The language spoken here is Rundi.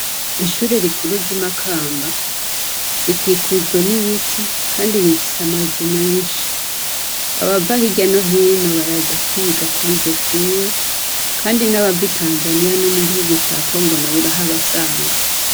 Ishure rikuru ry'imakamba rikikujwe n'ibiti, kandi rifise amazu menshi abava hoirya no hino baraza kwiga kuri ryo shure, kandi n'abava i tanzaniya no mu gihugu ca kongona buraho abasanga.